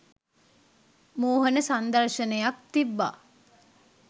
මෝහන සංදර්ශනයක් තිබ්බා